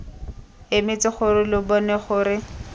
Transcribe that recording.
emetse gore lo bone gore